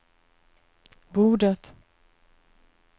bordet